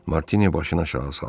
Martini başını aşağı saldı.